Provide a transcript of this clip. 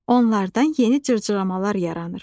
Onlardan yeni cırcıramalar yaranır.